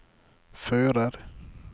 fører